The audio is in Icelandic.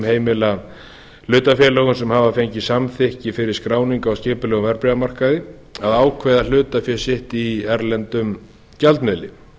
heimila hlutafélögum sem hafa fengið samþykki fyrir skráningu á skipulegum verðbréfamarkaði að ákveða hlutafé sitt í erlendum gjaldmiðli